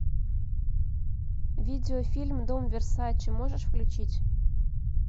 видеофильм дом версаче можешь включить